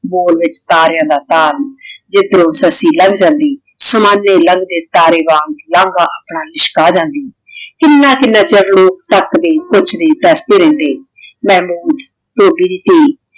ਬੋਲ ਵਿਚ ਤਾਰੀਆਂ ਦਾ ਤਾਰ ਜਿਦ੍ਰੋੰ ਸੱਸੀ ਲਾੰਗ ਜਾਂਦੀ ਸਮਾਨ੍ਯ ਲੰਗੜੀ ਤਾਰੇ ਵਾਂਗ ਆਪਣਾ ਲਿਸ਼ਕਾ ਜਾਂਦੀ ਕਿੰਨਾ ਕਿੰਨਾ ਚਿਰ ਲੋਗ ਤੱਕਦੇ ਪੁੱਛਦੇ ਦਸਦੇ ਰਹਿੰਦੇ ਮੇਨੂ ਧੋਬੀ ਦੀ ਧੀ